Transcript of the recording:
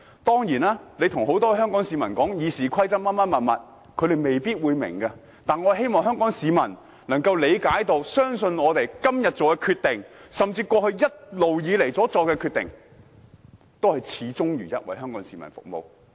當然，向很多香港市民解釋《議事規則》等，香港市民未必明白，但我希望香港市民相信，我們今天所作的決定，甚至過去一直以來所作的決定，均是始終如一為香港市民服務。